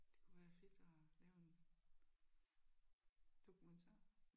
Det kunne være fedt at lave en dokumentar